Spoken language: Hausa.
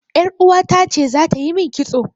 Yar uwata ce za ta yi min kitso.